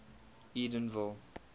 edenville